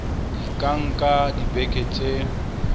di ka nka dibeke tse